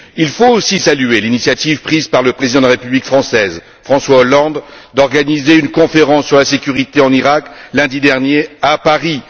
Il faut aussi saluer l'initiative prise par le président de la République française, François Hollande, d'organiser une conférence sur la sécurité en Iraq lundi dernier à Paris.